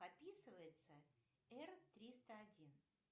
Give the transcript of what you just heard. описывается р триста один